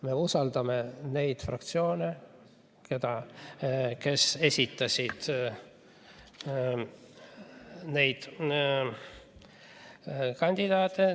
Me usaldame neid fraktsioone, kes esitavad neid kandidaate.